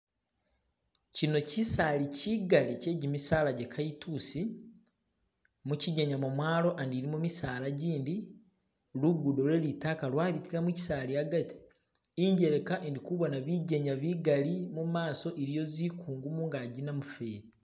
Shino shisali shigali she gimisala gyakalitusi, mushigona mwamwalo ndi muliyo gimisala jindi lugudo lwe lidoyi lwabitila mushisaali agati. Injeleka indikubona bigenya bigalli imaso iliyo bikungu manganji namufeli.